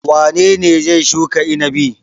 Wane ne zai shuka inabi?